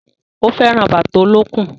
Ó fẹ́ràn bàtà olókùn